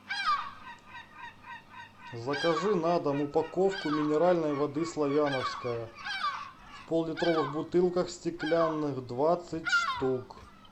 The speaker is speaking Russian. закажи на дом упаковку минеральной воды славяновская в поллитровых бутылках стеклянных двадцать штук